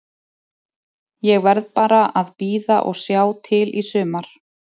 Ég verð bara að bíða og sjá til í sumar.